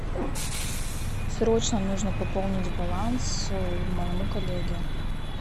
срочно нужно пополнить баланс моему коллеге